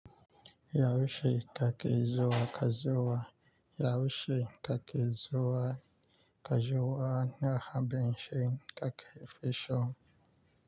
Yaushe kake zuwa? Ka zuwa. Yaushe kake zuwa? Ka zuwa. Na abincin kake fi son.